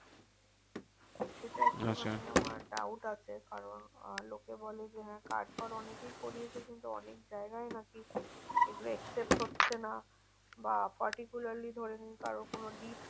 সেটা একটু আচ্ছা নিয়ে ওরা doubt আছে। কারণ আহ লোকে বলে যে হ্যাঁ card তো অনেকেই করিয়েছে, কিন্তু অনেক জায়গায় নাকি এগুলো accept হচ্ছে না। বা particularly ধরে নিন কারো কোনো